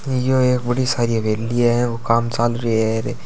य ओ एक बड़ी सारी हवेली है औ काम चलरियॉ है।